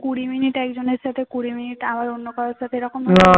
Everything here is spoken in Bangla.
কুড়ি minute একজনের সাথে কুড়ি minute আবার অন্য কারো সাথে এরকম